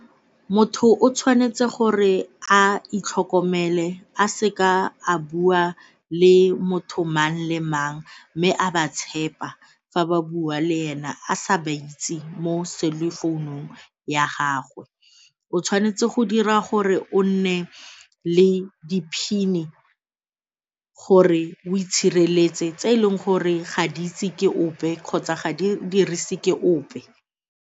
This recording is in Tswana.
Motho o tshwanetse gore a itlhokomele a seka a bua le motho mang le mang mme a ba tshepa fa ba bua le ena a sa ba itse mo cellphone-ung ya gagwe. O tshwanetse go dira gore o nne le di-PIN-e gore o itshireletse tse e leng gore ga di itse ke ope kgotsa ga di dirise ke ope.